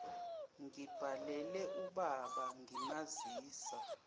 ngibhalele ubaba ngimazisa